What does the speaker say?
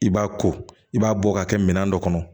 I b'a ko i b'a bɔ ka kɛ minɛn dɔ kɔnɔ